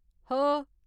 ह